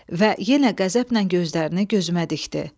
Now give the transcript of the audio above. Və yenə qəzəblə gözlərini gözümə dikdi.